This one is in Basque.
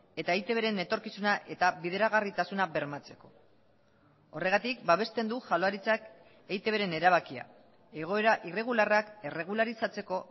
eta eitbren etorkizuna eta bideragarritasuna bermatzeko horregatik babesten du jaurlaritzak eitbren erabakia egoera irregularrak erregularizatzeko